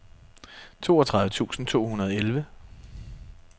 toogtredive tusind to hundrede og elleve